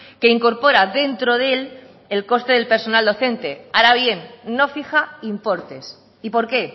que incorpora dentro de él el coste del personal docente ahora bien no fija importes y por qué